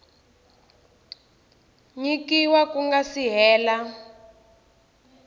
nyikiwa ku nga si hela